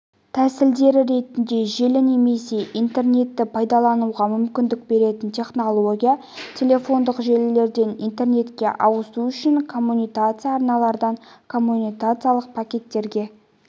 тәсілдері ретінде желі немесе интернетті пайдалануға мүмкіндік беретін технология телефондық желіден интернетке ауысу үшін коммутациялық арналардан коммутациялық пакеттерге